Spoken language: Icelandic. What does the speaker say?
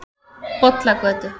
Bollagötu